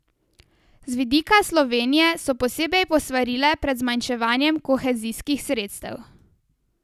Z vidika Slovenije so posebej posvarile pred zmanjševanjem kohezijskih sredstev.